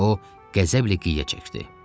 O qəzəbli qıyə çəkdi.